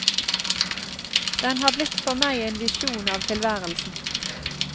Den har blitt for meg en visjon av tilværelsen.